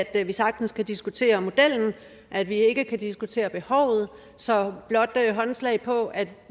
at vi sagtens kan diskutere modellen og at vi ikke kan diskutere behovet så blot håndslag på at